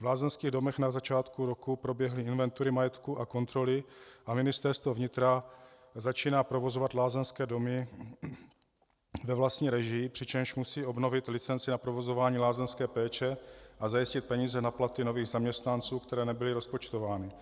V lázeňských domech na začátku roku proběhly inventury majetku a kontroly a Ministerstvo vnitra začíná provozovat lázeňské domy ve vlastní režii, přičemž musí obnovit licenci na provozování lázeňské péče a zajistit peníze na platy nových zaměstnanců, které nebyly rozpočtovány.